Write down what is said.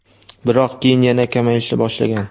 biroq keyin yana kamayishni boshlagan.